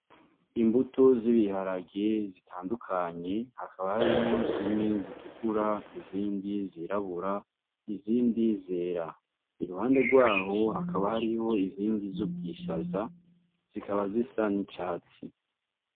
Imbuto z'ibiharage zitandukanye hakaba harimwo zimwe zitukura izindi zirabura izindi zera iruhande gwaho hakaba hari izindi z'ubwishaza zikaba zisa n' ubwatsi.